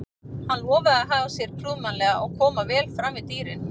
Hann lofaði að haga sér prúðmannlega og koma vel fram við dýrin.